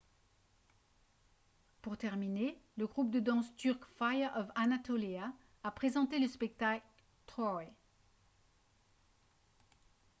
pour terminer le groupe de danse turc fire of anatolia a présenté le spectacle « troy »